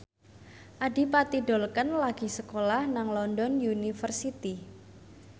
Adipati Dolken lagi sekolah nang London University